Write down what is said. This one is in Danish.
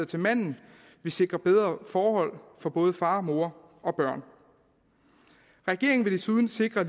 til manden vil sikre bedre forhold for både far og mor og børn regeringen vil desuden sikre